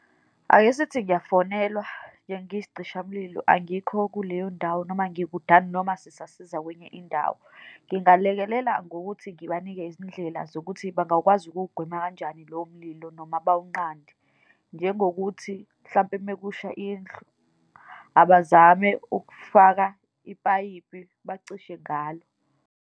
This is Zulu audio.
Akesithi ngiyafonelwa nje ngiyisicishamlilo, angikho kuleyo ndawo, noma ngikudana, noma sisasiza kwenye indawo. Ngingalekelela ngokuthi ngibanike izindlela zokuthi bangakwazi ukuwugwema kanjani lowo mlilo, noma bawunqande, njengokuthi, mhlampe uma kusha indlu, abazame ukufaka ipayipi bacishe ngalo.